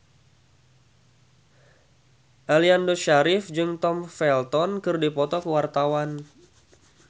Aliando Syarif jeung Tom Felton keur dipoto ku wartawan